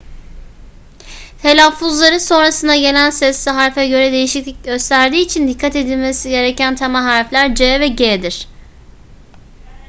telaffuzları sonrasında gelen sesli harfe göre değişiklik gösterdiği için dikkat edilmesi gereken temel harfler c ve g'dir